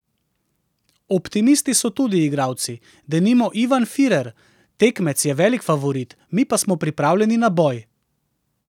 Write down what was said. Optimisti so tudi igralci, denimo Ivan Firer: "Tekmec je velik favorit, mi pa smo pripravljeni na boj.